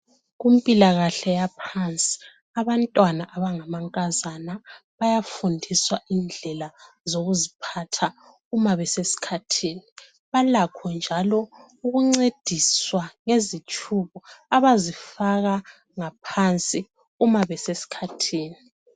kumpilakahle yaphansi abantwana abangamankazana bayafundiswa indlela zokuziphatha uma besesikhathini balakho njalo ukuncediswa ngezitshubo abazifaka ngaphansi uma besesikhathini